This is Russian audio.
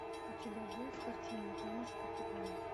у тебя будет картина дама с попугаем